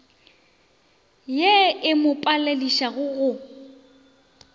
ye e mo paledišago go